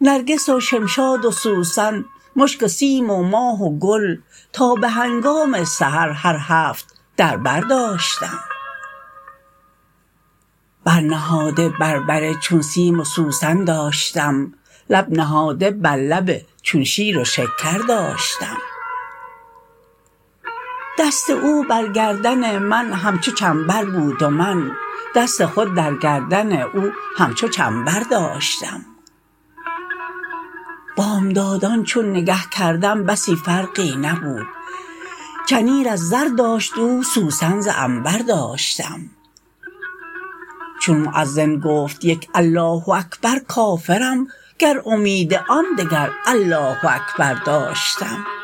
نرگس و شمشاد و سوسن مشک و سیم و ماه و گل تا به هنگام سحر هر هفت در بر داشتم بر نهاده بر بر چون سیم و سوسن داشتم لب نهاده بر لب چون شیر و شکر داشتم دست او بر گردن من همچو چنبر بود و من دست خود در گردن او همچو چنبر داشتم بامدادان چون نگه کردم بسی فرقی نبود چنیر از زر داشت او سوسن ز عنبر داشتم چون موذن گفت یک الله اکبر کافرم گر امید آن دگر الله اکبر داشتم